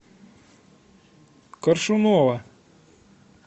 коршунова